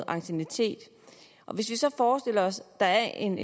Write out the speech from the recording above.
anciennitet hvis vi så forestiller os at der er en